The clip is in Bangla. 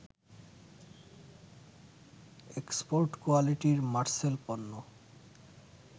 এক্সপোর্ট কোয়ালিটির মারসেল পণ্য